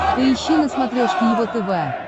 поищи на смотрешке его тв